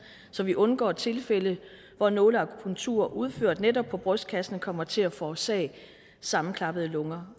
så vi undgår tilfælde hvor nåleakupunktur udført på netop brystkassen kommer til at forårsage sammenklappede lunger